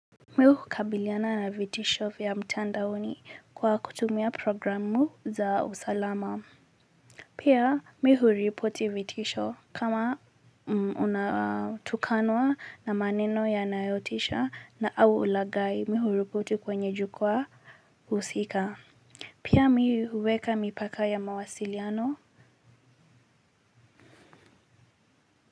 Mi hukabiliana na vitisho vya mtandaoni kwa kutumia programu za usalama pia mi huripoti vitisho kama unatukanwa na maneno yanayotisha na au ulaghai mi huripoti kwenye jukwaa husika pia mi huweka mipaka ya mawasiliano kwa hivyo.